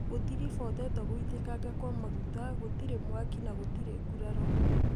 gũtirifotetwo gũitikanga kwa maguta, gũtirĩ mwaki na gũtirĩ nguraro.